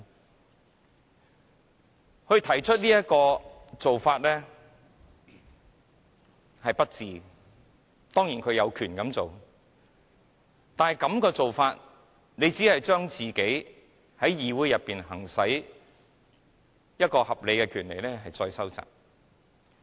鄭松泰議員作出這種行為是不智的，當然他有權這樣做，但這樣做只會將自己在議會內可行使的合理權利收窄。